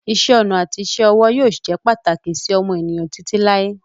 Iṣẹ́-ọnà àti isẹ́-ọwọ́ yóò jẹ́ pàtàkì sí ọmọ ènìyàn títí láé.